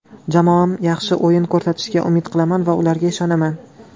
Jamoam yaxshi o‘yin ko‘rsatishiga umid qilaman va ularga ishonaman.